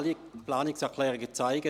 Alle Planungserklärungen zeigen: